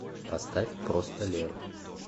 поставь просто леру